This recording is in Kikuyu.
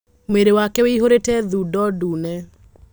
Mwĩrĩwake wĩihũrĩte thundo ndune.